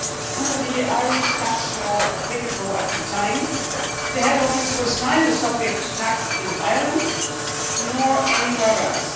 Under the Irish tax law applicable at the time, the head office was not subject to tax in Ireland or anywhere else.